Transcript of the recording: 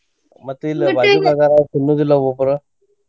ಮತ್ತ ಇಲ್ಲಿ ಬಾಜುಕ ಅದಾರ ಅವ್ರ ತಿನ್ನೋದಿಲ್ಲ ಒಬ್ಬೊಬ್ರ.